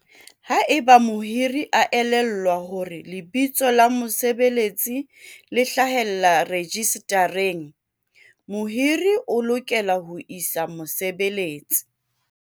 "Haeba mohiri a elellwa hore lebitso la mosebeletsi le hlahellla rejistareng, mohiri o lokela ho isa mosebeletsi"